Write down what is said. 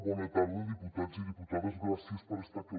bona tarda diputats i diputades gràcies per estar aquí